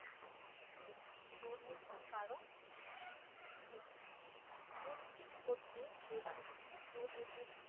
কি দুর্নীতি ঘটবে যদি দুর্নীতির